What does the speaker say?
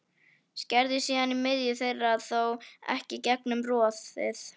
Skerðu síðan í miðju þeirra, þó ekki í gegnum roðið.